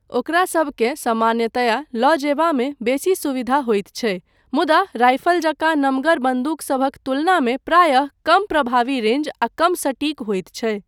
ओकरासभकेँ सामान्यतया लऽ जयबामे बेसी सुविधा होयत छै मुदा राइफल जकाँ नमगर बन्दूकसभक तुलनामे प्रायः कम प्रभावी रेंज आ कम सटीक होइत छै।